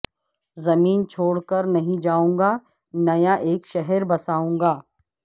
زمین چھوڑ کر نہیں جائوں گا نیا ایک شہر بسائوں گا